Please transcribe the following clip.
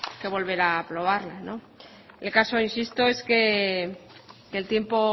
que volver a aprobarla el caso insisto es que el tiempo